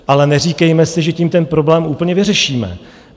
Ale neříkejme si, že tím ten problém úplně vyřešíme.